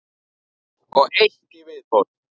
Og eitt í viðbót.